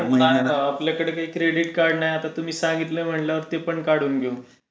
नाही बाबा आमचा कडे काही क्रेडिट कार्ड नाही आता तुम्ही सांगितले म्हणल्यावर ते पण काढून घेऊ.